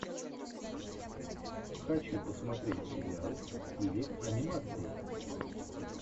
хочу посмотреть сериал в стиле анимации